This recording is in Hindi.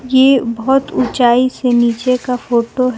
ये बहोत ऊंचाई से नीचे का फोटो है।